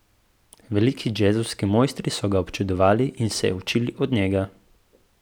Veliki džezovski mojstri so ga občudovali in se učili od njega.